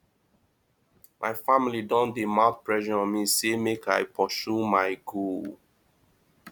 my family don dey mount pressure on me sey make i pursue my goals